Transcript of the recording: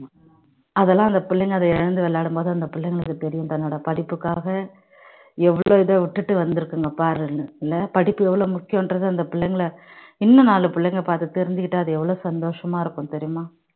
அதெல்லாம் அந்த பிள்ளைங்க அதை இழந்து விளையாடும் போது அந்த பிள்ளைங்களுக்கு தெரியும் தன்னோட படிப்புக்காக எவ்வளவு இதை விட்டுட்டு வந்து இருக்குங்க பாருங்க இல்ல படிப்பு எவ்வளவு முக்கியங்கறது அந்த பிள்ளைகளை இன்னும் நாலு பிள்ளைகளை பார்த்து தெரிஞ்சுக்கிட்டு அது எவ்வளவு சந்தோஷமா இருக்கும் தெரியுமா